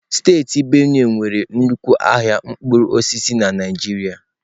Steeti benue nwere nnukwu ahịa mkpụrụ osisi na Naịjirịa.